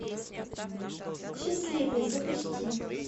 счастливый запусти